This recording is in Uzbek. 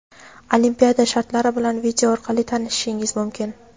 Olimpiada shartlari bilan video orqali tanishishingiz mumkin!.